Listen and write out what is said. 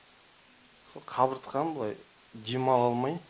со қабыртқам былай дем ала алмай